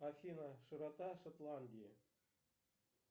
афина широта шотландии